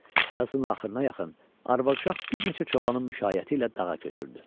Yazın axırına yaxın arvad-uşaq bir neçə çobanın müşayiəti ilə dağa köçürdü.